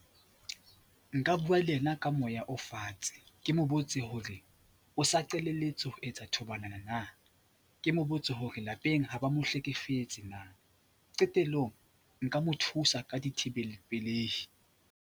Nka bua le ena ka moya o fatshe, ke mo botse hore o sa qalelletse ho etsa thobalano na, ke mo botse hore lapeng ha ba mo hlekefetse na, qetellong nka mo thusa ka dithibelapelehi.